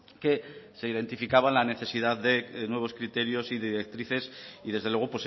que se identificaba la necesidad de nuevos criterios y directrices y desde luego